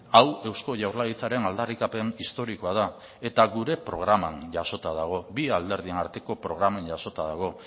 hau eusko jaurlaritzaren aldarrikapen historikoa da eta gure programan jasotan dago bi alderdian arteko programen jasota dago